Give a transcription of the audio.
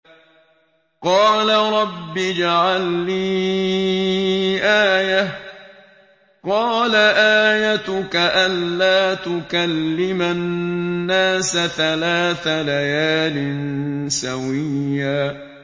قَالَ رَبِّ اجْعَل لِّي آيَةً ۚ قَالَ آيَتُكَ أَلَّا تُكَلِّمَ النَّاسَ ثَلَاثَ لَيَالٍ سَوِيًّا